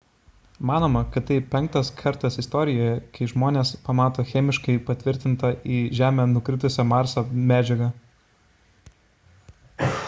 manoma kad tai penktas kartas istorijoje kai žmonės pamato chemiškai patvirtintą į žemę nukritusią marso medžiagą